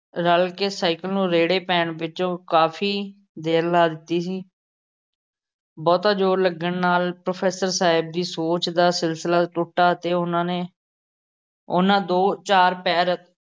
ਰਲ਼ ਕੇ ਸਾਈਕਲ ਨੂੰ ਰੇੜ੍ਹੇ ਪੈਣ ਵਿੱਚ ਕਾਫ਼ੀ ਦੇਰ ਲਾ ਦਿੱਤੀ ਸੀ। ਬਹੁਤਾ ਜ਼ੋਰ ਲੱਗਣ ਨਾਲ਼ professor ਸਾਹਿਬ ਦੀ ਸੋਚ ਦਾ ਸਿਲਸਿਲਾ ਟੁੱਟਾ ਅਤੇ ਉਹਨਾ ਨੇ ਉਹਨਾਂ ਦੋ-ਚਾਰ ਪੈਰ